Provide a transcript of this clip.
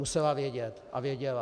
Musela vědět a věděla.